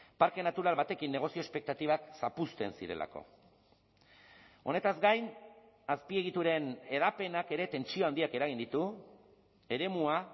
parke natural batekin negozio espektatibak zapuzten zirelako honetaz gain azpiegituren hedapenak ere tentsio handiak eragin ditu eremua